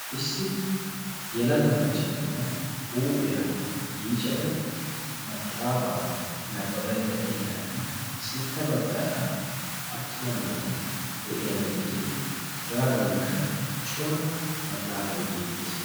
Issi yelaga macca na'iya huuphiya yiicada maxaafaa nabbabaydda de'iyaranne sintta baggaara attuma naati de'iyageeti hegaadankka cora maxaafay beettees.